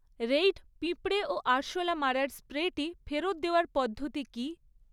Raid পিঁপড়ে ও আরশোলা মারার স্প্রেটি ফেরত দেওয়ার পদ্ধতি কী?